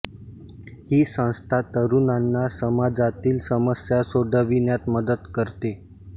ही संस्था तरुणांना समाजातील समस्या सोडविण्यात मदत करते